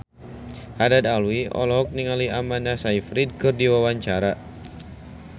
Haddad Alwi olohok ningali Amanda Sayfried keur diwawancara